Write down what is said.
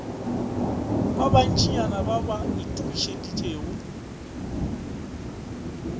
ba bantšinyana ba ba itokišeditšego